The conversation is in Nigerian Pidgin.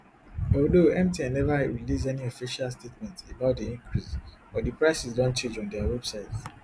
although mtn neva release any official statement about di increase but di prices don change on dia website